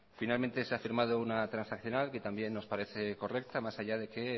finalmente se ha firmado una transaccional que también nos parece correcta más allá de que